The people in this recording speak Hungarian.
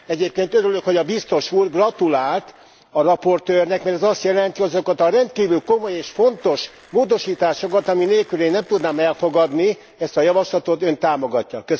Egyébként örülök, hogy a Biztos úr gratulált a raportőrnek, mert ez azt jelenti, hogy azokat a rendkívül komoly és fontos módosításokat, ami nélkül én nem tudnám elfogadni ezt a javaslatot, Ön támogatja.